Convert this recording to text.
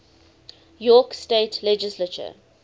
york state legislature